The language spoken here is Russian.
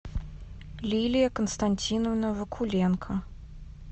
лилия константиновна вакуленко